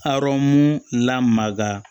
Arɔn lamaga